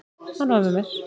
Hann var með mér.